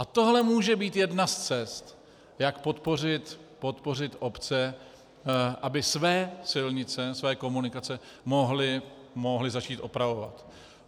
A tohle může být jedna z cest, jak podpořit obce, aby své silnice, své komunikace, mohly začít opravovat.